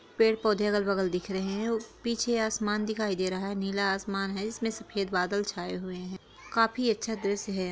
पेड़- पौधे अगल -बगल दिख रहे है पीछे आसमान दिखाई दे रहा है नीला आसमान है इसमें सफ़ेद बादल छाए हुए हैं काफी अच्छा दृश्य है।